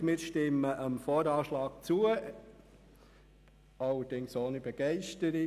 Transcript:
Die FDP stimmt dem VA zu, allerdings ohne Begeisterung.